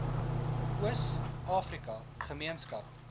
oos afrika gemeenskap